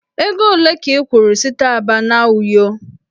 Ego ole ka ị kwụrụ site Aba na Uyo?